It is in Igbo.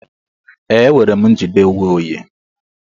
Ee, enwere m njide onwe onye.